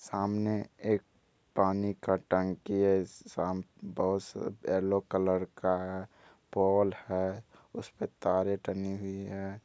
ने एक पानी का टंकी है साम बोस एल्लो का है पोल है उसपे तारे टंगी हुई है।